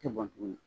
Tɛ bɔn tuguni